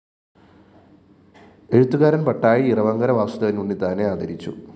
എഴുത്തുകാരന്‍ പട്ടാഴി ഇറവങ്കര വാസുദേവന്‍ ഉണ്ണിത്താനെ ആദരിച്ചു